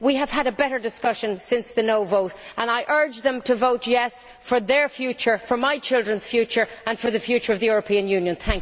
We have had a better discussion since the no' vote and I urge them to vote yes' for their future, for my children's future and for the future of the European Union.